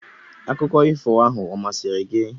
Akụkọ ifo ahụ ọ masịrị gị?